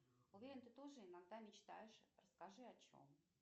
уверен ты тоже иногда мечтаешь расскажи о чем